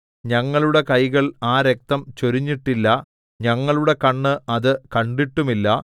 ഞങ്ങളുടെ കൈകൾ ആ രക്തം ചൊരിഞ്ഞിട്ടില്ല ഞങ്ങളുടെ കണ്ണ് അത് കണ്ടിട്ടുമില്ല